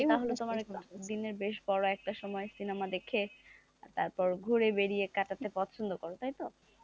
দিনের বেশ বড় একটা সময় সিনেমা দেখে আর তারপর ঘুরে বেড়িয়ে কাটাতে পছন্দ করো তাই তো,